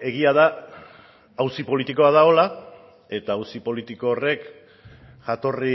egia da auzi politikoa dagoela eta auzi politiko horrek jatorri